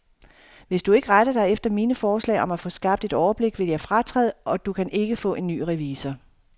Hvis du ikke retter dig efter mine forslag om at få skabt et overblik, vil jeg fratræde, og du kan ikke få en ny revisor.